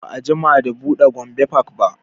Ba a jima da buɗe gombe park ba